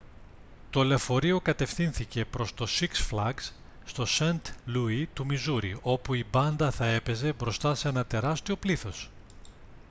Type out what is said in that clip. το λεωφορείο κατευθύνθηκε προς το σιξ φλαγκς στο σαιντ λούι του μιζούρι όπου η μπάντα θα έπαιζε μπροστά σε ένα τεράστιο πλήθος